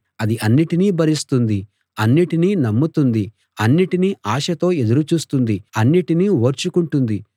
అది అన్నిటినీ భరిస్తుంది అన్నిటినీ నమ్ముతుంది అన్నిటినీ ఆశతో ఎదురు చూస్తుంది అన్నిటినీ ఓర్చుకుంటుంది